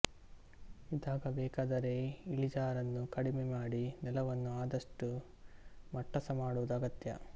ಇದಾಗಬೇಕಾದರೆ ಇಳಿಜಾರನ್ನು ಕಡಿಮೆ ಮಾಡಿ ನೆಲವನ್ನು ಆದಷ್ಟು ಮಟ್ಟಸ ಮಾಡುವುದು ಅಗತ್ಯ